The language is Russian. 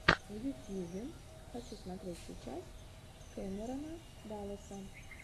в ютьюбе хочу смотреть сейчас кэмерона далласа